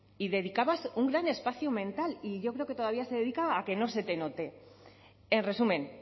y dedicabas un gran espacio mental y yo creo que todavía se dedica a que no se note en resumen